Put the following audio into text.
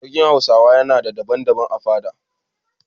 Sarkin Hausawa yana da babban fada.